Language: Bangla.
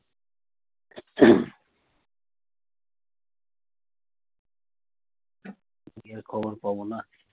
বিয়ের খবর পাবো না?